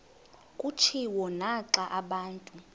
kutshiwo naxa abantu